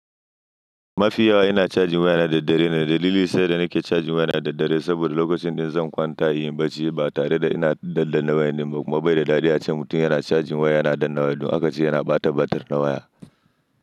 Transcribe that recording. Mafi yawa ina charging wayana da dare. Dalili sanda nake charging wayana da dare saboda lokacin da zan kwanta yin barci ba tare da ina daddan waya nima kuma bai da dadi a ce mutum yana charging waya yana daddawa ko akace yana bata batir na waya.